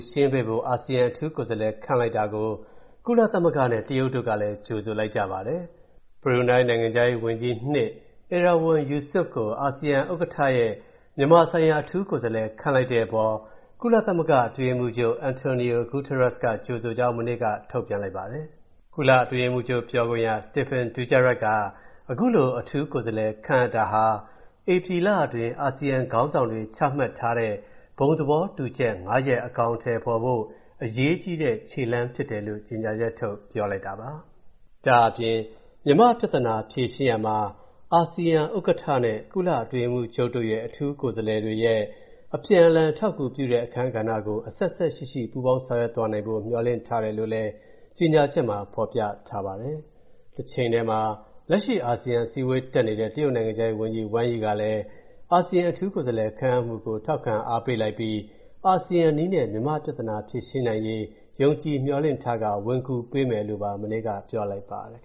ရှင်းပေးဖို့ အာဆီယံ အထူးကိုယ်စားလှယ် ခန့်အပ်လိုက်တာကို ကုလသမဂ္ဂနဲ့ တရုတ်တို့ကလည်း ကြိုဆိုလိုက်ကြပါတယ်။ ဘရူနိုင်း နိုင်ငံခြားရေးဝန်ကြီး (၂) Erywan Yusof ကို အာဆီယံ ဥက္ကဌရဲ့ မြန်မာဆိုင်ရာအထူးကိုယ်စားလှယ်ခန့်လိုက်တဲ့အပေါ် ကုလသမဂ္ဂ အတွင်းရေးမှူးချုပ် António Guterres က ကြိုဆိုကြောင်း မနေ့က ထုတ်ပြန်လိုက်ပါတယ်။ ကုလအတွင်းရေးမှူးချုပ် ပြောခွင့်ရ Stéphane Dujarric က၊ အခုလို အထူးကိုယ်စားလှယ်ခန့်အပ်တာဟာ၊ ဧပြီလတွင်း အာဆီယံခေါင်းဆောင်တွေ ချမှတ်ထားတဲ့ ဘုံသဘောတူချက် ၅ ရပ် အကောင်အထည်ဖော်ဖို့၊ အရေးကြီးတဲ့ ခြေလှမ်း ဖြစ်တယ်လို့ ကြေညာချက် ထုတ်ပြောလိုက်တယ်။ ဒါ့အပြင် မြန်မာ့ပြဿနာ ဖြေရှင်းရာမှာ၊ အာဆီယံဥက္ကဋ္ဌနဲ့ ကုလအတွင်းရေးမှူးချုပ် အထူးကိုယ်စားလှယ်တွေရဲ့ အပြန်အလှန်အထောက်အကူပြုတဲ့အခန်းကဏ္ဍကို၊ အဆက်အစပ်ရှိရှိ ပူးပေါင်း ဆောင်ရွက်သွားဖိ့ မျှော်လင့်ထားတယ်လို့လည်း ကြေညာချက်မှာ ဖော်ပြထားပါတယ်။ တချိန်ထဲမှာ လက်ရှိအာဆီယံအစည်းအဝေးတက်နေတဲ့၊ တရုတ်နိုင်ငံခြားရေးဝန်ကြီး Wang Yi ကလည်း၊ အာဆီယံအထူးကိုယ်စားလှယ်ခန့်အပ်မူကို ထောက်ခံအားပေးလိုက်ပြီး၊ အာဆီယံနည်းနဲ့ မြန်မာ့ပြဿနာဖြေရှင်းနိုင်ရေး ယုံကြည်မျှော်လင့်ထားကာ၊ ဝင်ကူပေးမယ်လို့ မနေ့က ပြောလိုက်ပါတယ်